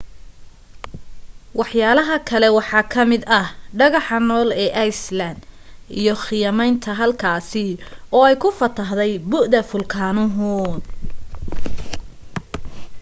waxyaalaha kale waxaa kamid ah dhagaxanool ee island iyo khiyamaynta halkaasi oo ay ku fatahday buda fulkaanuhu